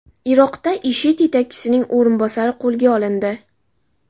Iroqda IShID yetakchisining o‘rinbosari qo‘lga olindi.